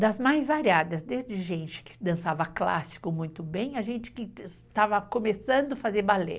das mais variadas, desde gente que dançava clássico muito bem, a gente que estava começando a fazer ballet.